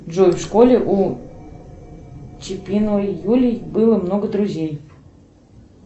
джой в школе у чипиновой юли было много друзей